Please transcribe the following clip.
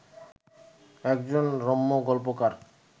একজন রম্য গল্পকার